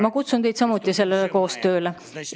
Ma kutsun teid samuti sellele koostööle.